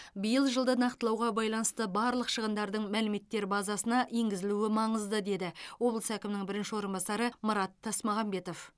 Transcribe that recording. биыл жылды нақтылауға байланысты барлық шығындардың мәліметтер базасына енгізілуі маңызды деді облыс әкімінің бірінші орынбасары марат тасмағанбетов